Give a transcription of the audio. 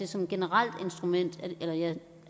som et generelt instrument